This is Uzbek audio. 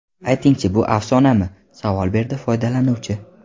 Aytingchi, bu afsonami?” savol berdi foydalanuvchi.